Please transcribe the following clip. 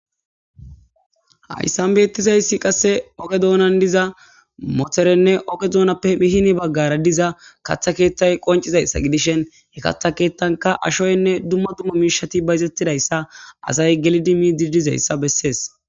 hayssan beettizayssi qasse oge doonan diza motherenne oge doonappe mihini baggara diza katha keeththay qoncizayssa gidishen he katha keethtanka ashoynne dumma dumma miishati bayzettidayssa asay gelidi mi didizayssa bessees